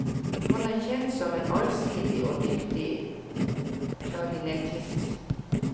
Han er kjent som en allsidig og dyktig klarinettist.